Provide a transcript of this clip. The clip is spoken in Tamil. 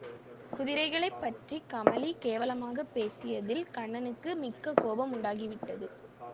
குதிரைகளைப் பற்றி கமலி கேவலமாகப் பேசியதில் கண்ணனுக்கு மிக்க கோபம் உண்டாகிவிட்டது